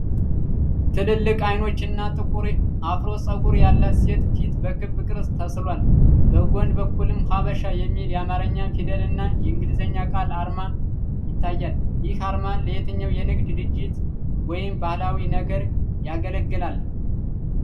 ትልልቅ አይኖች እና ጥቁር የአፍሮ ፀጉር ያላት ሴት ፊት በክብ ቅርጽ ተሥሏል፤ በጎን በኩልም "ሐበሻ" የሚል የአማርኛ ፊደልና የእንግሊዝኛ ቃል አርማ ይታያል። ይህ አርማ ለየትኛው የንግድ ድርጅት ወይም ባህላዊ ነገር ያገለግላል?